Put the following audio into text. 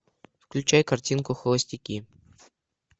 включай картинку холостяки